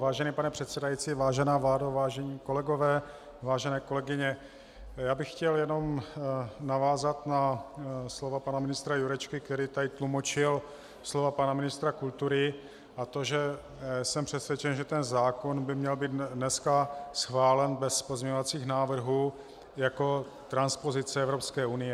Vážený pane předsedající, vážená vládo, vážení kolegové, vážené kolegyně, já bych chtěl jenom navázat na slova pana ministra Jurečky, který tady tlumočil slova pana ministra kultury, a to že jsem přesvědčen, že ten zákon by měl být dneska schválen bez pozměňovacích návrhů jako transpozice Evropské unie.